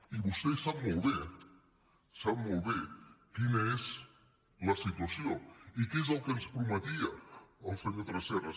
i vostè sap molt bé sap molt bé quina és la situació i què és el que ens prometia el senyor tresserras